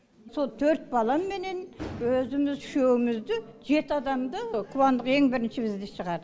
сол төрт баламменен өзіміз үшеумізді жеті адамды қуандық ең бірінші бізді шығарды